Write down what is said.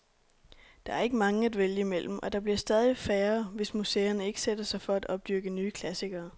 Der er ikke mange at vælge imellem, og der bliver stadig færre, hvis museerne ikke sætter sig for at opdyrke nye klassikere.